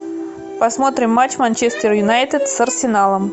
посмотрим матч манчестер юнайтед с арсеналом